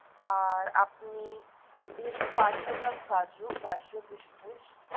আর আপনি দিয়ে দিন পাঁচ সো গ্রাম কাজু, পাঁচ সো কিসমিস।